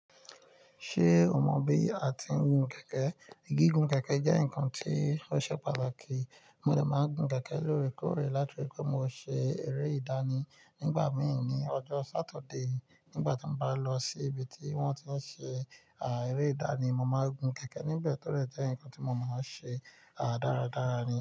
Ṣé o mọ bí a ti ń gun kẹ̀kẹ́? Gígùn kẹ̀kẹ́ jẹ́ ǹkan tí ó ṣe pàtàkì. Mo dẹ máa n gun kẹ̀kẹ́ lóòrèkóòrè látirí pé mo ṣe eré ìdánì nígbà mìí ní ọjọ́ Sátidé. Nígbà tí mo bá lọ sí ibi tí wọ́n ti ṣe, à, eré ìdánì, mo máa gun kẹ̀kẹ́ níbẹ̀ todẹ jẹ́ ǹkan tí mo mọọ ṣe, à, dáradára ni.